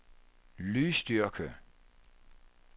lydstyrke